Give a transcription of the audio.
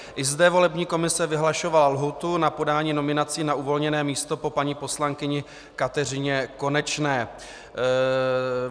I zde volební komise vyhlašovala lhůtu na podání nominací na uvolněné místo po paní poslankyni Kateřině Konečné.